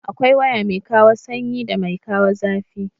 Akwai waya mai kawo sanyi da mai kawo zafi.